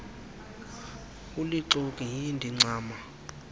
ulixoki hi ndincama